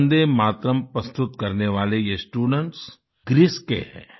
वन्दे मातरम् प्रस्तुत करने वाले ये स्टूडेंट्स ग्रीस के हैं